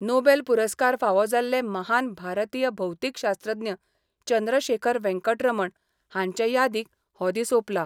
Nobel पुरस्कार फावो जाल्ले महान भारतीय भौतीकशास्त्रज्ञ चंद्रशेखर वेंकट रमण हांचे यादीक हो दीस ओपला.